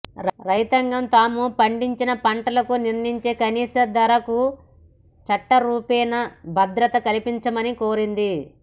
రైతాంగం తాము పండించిన పంట లకు నిర్ణయించే కనీస ధరకు చట్టరూపేణా భద్రత కల్పించమని కోరింది